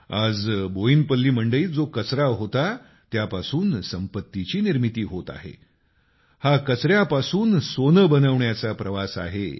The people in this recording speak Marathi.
आज बोयिनपल्ली मंडईत जो कचरा होता त्यापासून संपत्तीची निर्मिती होत आहे हा कचऱ्यापासून सोनं बनवण्याचा प्रवास आहे